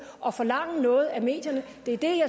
og forlange noget af medierne